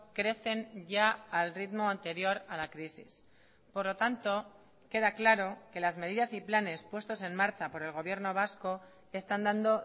crecen ya al ritmo anterior a la crisis por lo tanto queda claro que las medidas y planes puestos en marcha por el gobierno vasco están dando